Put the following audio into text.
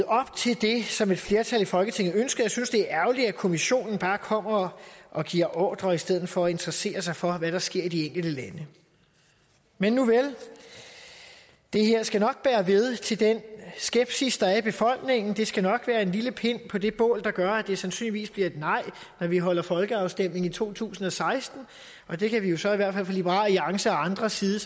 op til det som et flertal i folketinget ønskede jeg synes det er ærgerligt at kommissionen bare kommer og giver ordrer i stedet for at interessere sig for hvad der sker i de enkelte lande men nuvel det her skal nok bære ved til den skepsis der er i befolkningen det skal nok være en lille pind på det bål der gør at det sandsynligvis bliver et nej når vi holder folkeafstemning i to tusind og seksten det kan vi jo så i hvert liberal alliance og andres side